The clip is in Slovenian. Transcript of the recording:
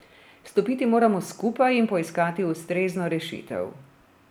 Stopiti moramo skupaj in poiskati ustrezno rešitev.